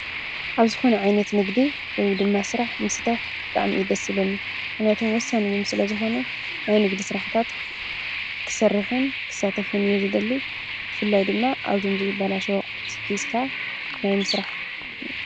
ኣብ ዝኮነ ዓይነት ንግዲ ወይ ድማ ስራሕ ምስታፍ ብጣዕሚ እዩ ደስ ዝብለኒ፡፡ ምክንያቱ ወሳኒ ስለዝኮነ ናይ ንግዲ ስራሕትታት ክነግድን ከሰርሕን እየ ዝደሊ፡፡ ብፍላይ ድማ እዞም ዘይበላሸዉ አቅሑት ሒዝካ ናይ ምስራሕ ድሌት ኣለኒ፡፡